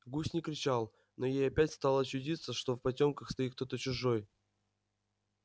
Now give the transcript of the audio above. гусь не кричал но ей опять стало чудиться что в потёмках стоит кто-то чужой